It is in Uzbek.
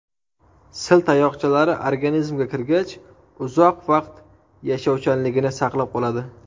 Sil tayoqchalari organizmga kirgach, uzoq vaqt yashovchanligini saqlab qoladi.